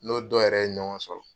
N'o dɔ yɛrɛ ye ɲɔgɔn sɔrɔ.